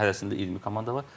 Hərəsində 20 komanda var.